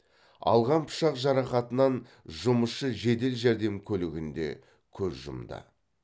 алған пышақ жарақатынан жұмысшы жедел жәрдем көлігінде көз жұмды